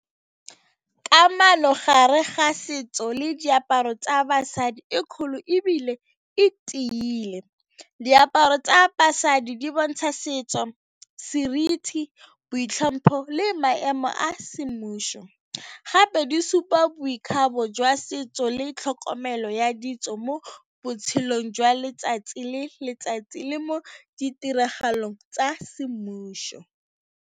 Kamano gare ga setso le diaparo tsa basadi e kgolo ebile e tiile. Diaparo tsa basadi di bontsha setso, seriti, boitlhompho le maemo a semmušo gape di supa boikgabo jwa setso le tlhokomelo ya ditso mo botshelong jwa letsatsi le letsatsi le mo ditiragalong tsa semmušo.